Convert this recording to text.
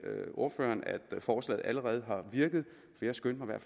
ordføreren at forslaget allerede har virket jeg skyndte mig